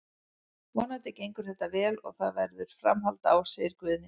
Vonandi gengur þetta vel og það verður framhald á, segir Guðni.